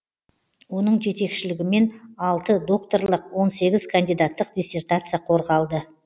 оның жетекшілігімен алты докторлық он сегіз кандидаттық диссертация қорғалды